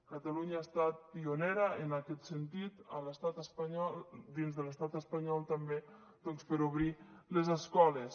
catalunya ha estat pionera en aquest sentit dins de l’estat espanyol també doncs a obrir les escoles